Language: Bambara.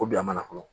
K'o bila mana kɔnɔ